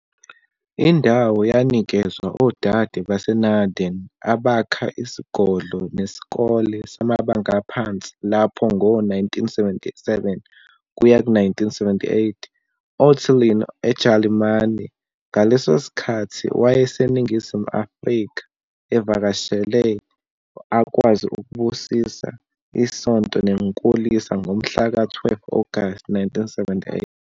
Indawo yanikezwa odade baseNardini abakha isigodlo nesikole samabanga aphansi lapho ngo-1977 kuya 78. Ottilien, eJalimane, ngaleso sikhathi owayeseNingizimu Afrika evakashele, akwazi ukubusisa isonto nenkulisa ngomhlaka 12 August 1978.